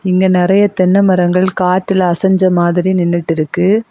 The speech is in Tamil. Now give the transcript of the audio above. இங்க நறைய தென்ன மரங்கள் காத்துல அசஞ்ச மாதிரி நின்னுட்டு இருக்கு.